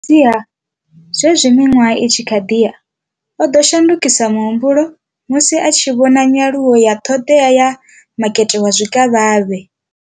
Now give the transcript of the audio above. Fhedziha, zwenezwi miṅwaha i tshi khou ḓi ya, o ḓo shandukisa muhumbulo musi a tshi vhona nyaluwo ya ṱhoḓea ya makete wa zwikavhavhe.